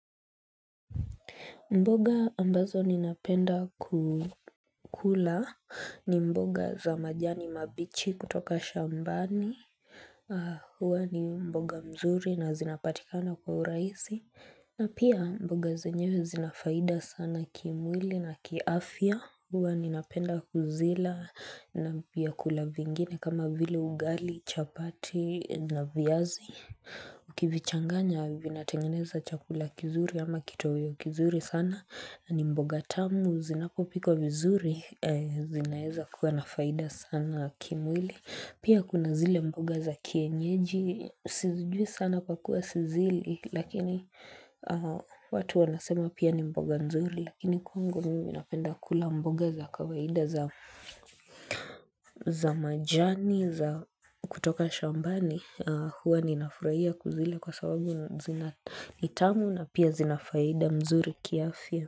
Mboga ambazo ninapenda kukula ni mboga za majani mabichi kutoka shambani, huwa ni mboga mzuri na zinapatikana kwa uraihisi, na pia mboga zenyewe zina faida sana kimwili na kiafya, huwa ninapenda kuzila na vyakula vingine kama vile ugali, chapati na viazi. Ukivichanganya vinatengeneza chakula kizuri ama kitoweo kizuri sana. Ni mboga tamu zinapopikwa vizuri zinaweza kuwa na faida sana kimwili. Pia kuna zile mboga za kienyeji Sijui sana pakuwa sizili lakini watu wanasema pia ni mboga nzuri. Lakini kwangu mimi napenda kula mboga za kawaida za majani za kutoka shambani Huwa ninafurahia kuzila kwa sababu zina, ni tamu na pia zinafaida mzuri kiafya.